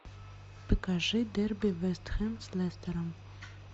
покажи дерби вест хэм с лестером